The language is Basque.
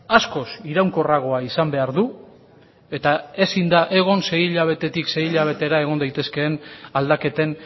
askoz iraunkorragoa izan behar du eta ezin da egon sei hilabetetik sei hilabetera egon daitezkeen aldaketen